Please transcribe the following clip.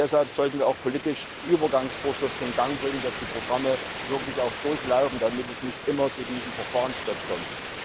Deshalb sollten wir auch politisch Übergangsvorschriften in Gang bringen, damit die Programme wirklich durchlaufen, damit es nicht immer zu diesem Verfahrensstopp kommt.